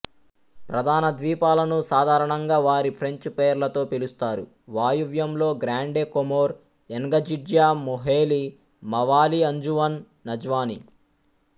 ప్రధాన ద్వీపాలను సాధారణంగా వారి ఫ్రెంచ్ పేర్లతో పిలుస్తారు వాయువ్యంలో Grande Comore Ngazidja Moheli Mwali Anjouan Nzwani